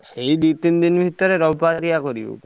ସେଇ ଦି ତିନ ଦିନ ଭିତରେ ରବିବାରିଆ କରିବେ।